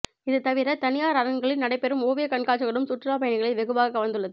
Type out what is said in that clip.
இது தவிர தனியார் அரங்குகளில் நடைபெறும் ஓவிய கண்காட்சிகளும் சுற்றுலாப் பயணிகளை வெகுவாக கவர்ந்துள்ளது